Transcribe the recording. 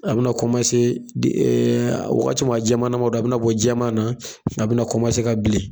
A bi na komase de ee a wagati min a jɛmanan man do a bi na bɔ jɛman na a bina kɔmanse ka bilen